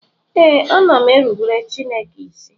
Ee, ana m erubere Chineke isi